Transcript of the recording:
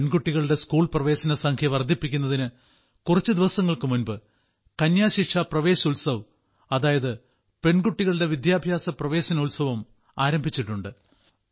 പെൺകുട്ടികളുടെ സ്കൂൾ പ്രവേശന സംഖ്യ വർദ്ധിപ്പിക്കുന്നതിന് കുറച്ചു ദിവസങ്ങൾക്കു മുൻപ് കന്യാ ശിക്ഷ പ്രവേശ് ഉത്സവ് അതായത് പെൺകുട്ടികളുടെ വിദ്യാഭ്യാസ പ്രവേശനോത്സവം ആരംഭിച്ചിട്ടുണ്ട്